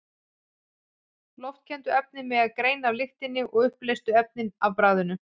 Loftkenndu efnin megi greina af lyktinni og uppleystu efnin af bragðinu.